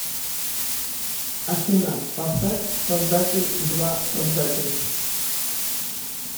афина поставь создатель два создатель